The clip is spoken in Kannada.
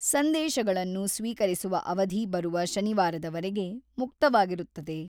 ಸಂದೇಶಗಳನ್ನು ಸ್ವೀಕರಿಸುವ ಅವಧಿ ಬರುವ ಶನಿವಾರದವರೆಗೆ ಮುಕ್ತವಾಗಿರುತ್ತದೆ.